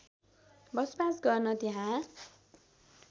बसोवास गर्न त्यहाँ